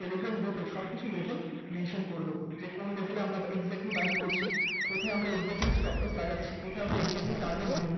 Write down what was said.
telegram group এ সবকিছুর level mention করে দেব যে কোন level এ আমরা exactly buying করছি কোথায় আমরা exactly stop loss লাগাচ্ছি। কোথায় আমরা exactly target নেব